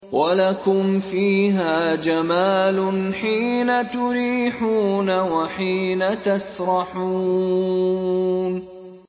وَلَكُمْ فِيهَا جَمَالٌ حِينَ تُرِيحُونَ وَحِينَ تَسْرَحُونَ